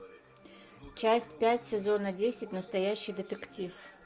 часть пять сезона десять настоящий детектив